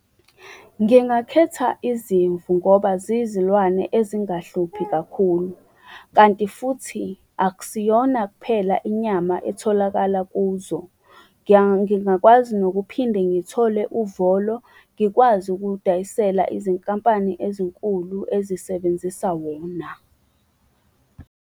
Ngingakhetha izimvu ngoba ziyizilwane ezingahluphi kakhulu, kanti futhi akusiyona kuphela inyama etholakala kuzo. Ngingakwazi nokuphinde ngithole uvolo, ngikwazi ukuwudayisela izinkampani ezinkulu ezisebenzisa wona.